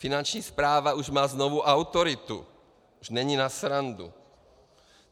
Finanční správa už má znovu autoritu, už není pro srandu.